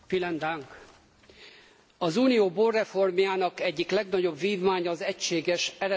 Az Unió borreformjának egyik legnagyobb vívmánya az egységes eredetvédelmi szabályozás.